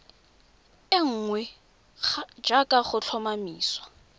e nngwe jaaka go tlhomamisiwa